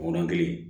O yɔrɔnin kelen